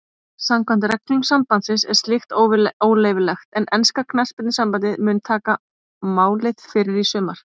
Samkvæmt reglum sambandsins er slíkt óleyfilegt en enska knattspyrnusambandið mun taka máið fyrir í sumar.